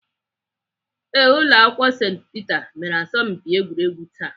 Ee, Ụlọakwụkwọ St Peter mere asọmpi egwuregwu taa.